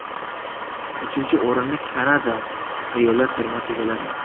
Uchinchi o‘rinni Kanada ayollar termasi egalladi.